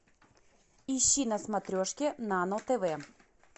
ищи на смотрешке нано тв